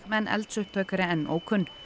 en eldsupptök eru enn ókunn